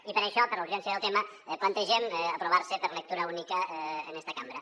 i per això per la urgència del tema plantegem que s’aprovi per lectura única en esta cambra